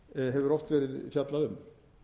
hefur oft verið fjallað um